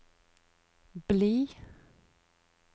bli